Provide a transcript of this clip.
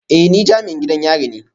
Eh ni jami'in gidan yari ne